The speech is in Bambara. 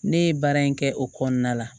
Ne ye baara in kɛ o kɔnɔna la